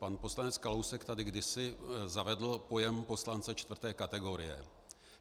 Pan poslanec Kalousek tady kdysi zavedl pojem poslance čtvrté kategorie.